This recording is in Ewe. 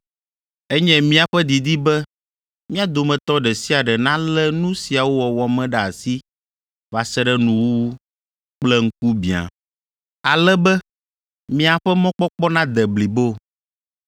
Enye míaƒe didi be mia dometɔ ɖe sia ɖe nalé nu siawo wɔwɔ me ɖe asi va se ɖe nuwuwu kple ŋkubiã, ale be miaƒe mɔkpɔkpɔ nade blibo.